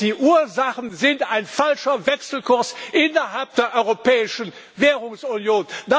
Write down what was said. Die Ursachen sind ein falscher Wechselkurs innerhalb der Europäischen Währungsunion.